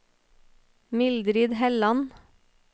Mildrid Helland